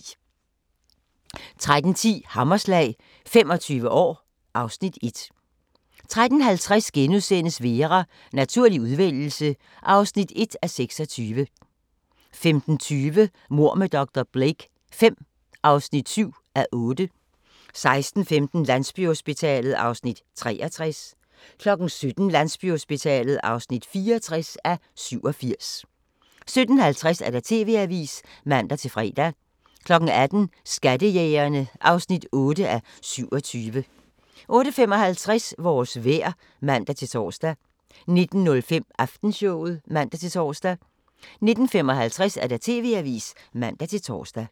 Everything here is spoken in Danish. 13:10: Hammerslag – 25 år (Afs. 1) 13:50: Vera: Naturlig udvælgelse (1:26)* 15:20: Mord med dr. Blake V (7:8) 16:15: Landsbyhospitalet (63:87) 17:00: Landsbyhospitalet (64:87) 17:50: TV-avisen (man-fre) 18:00: Skattejægerne (8:27) 18:55: Vores vejr (man-tor) 19:05: Aftenshowet (man-tor) 19:55: TV-avisen (man-tor)